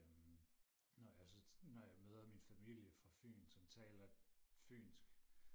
øhm når jeg så når jeg møder min familie fra fyn som taler fynsk